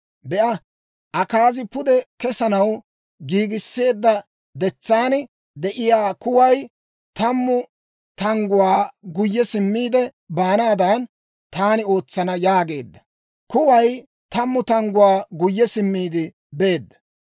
Be'a, Akaazi pude kesanaw giigisseedda detsaan de'iyaa kuway tammu tangguwaa guyye simmiide baanaadan, taani ootsana» yaageedda. Kuway tammu tangguwaa guyye simmiide beedda.